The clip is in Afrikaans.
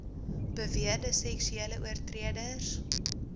beweerde seksuele oortreders